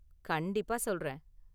கண்டிப்பா சொல்றேன்!